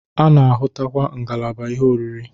A na-ahụtakwa ngalaba ihe oriri.